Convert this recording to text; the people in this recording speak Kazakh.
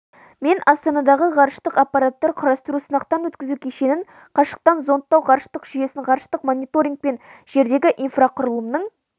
мен астанадағы ғарыштық аппараттар құрастыру-сынақтан өткізу кешенін қашықтан зондтау ғарыштық жүйесін ғарыштық мониторинг пен жердегі инфрақұрылымның